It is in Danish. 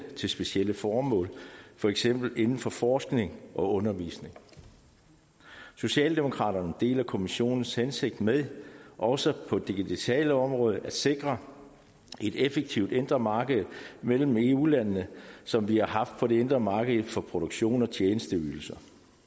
til specielle formål for eksempel inden for forskning og undervisning socialdemokraterne deler kommissionens hensigt med også på det digitale område at sikre et effektivt indre marked mellem eu landene som vi har haft det på det indre marked for produktion og tjenesteydelser